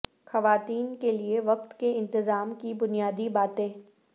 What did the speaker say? خواتین کے لئے وقت کے انتظام کی بنیادی باتیں